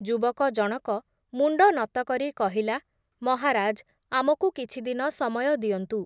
ଯୁବକ ଜଣକ ମୁଣ୍ଡନତ କରି କହିଲା, ‘ମହାରାଜ୍, ଆମକୁ କିଛିଦିନ ସମୟ ଦିଅନ୍ତୁ ।